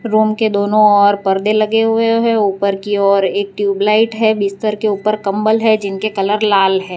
Room के दोनों ओर परदे लगे हुए हैं ऊपर की ओर एक ट्यूबलाइट है बिस्तर के ऊपर कंबल है जिनके कलर लाल है।